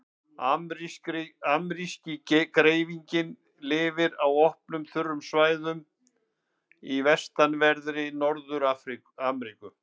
Ameríski greifinginn lifir á opnum, þurrum svæðum í vestanverðri Norður-Ameríku.